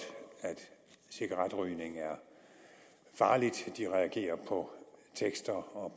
cigaretrygning er farligt de reagerer på tekster og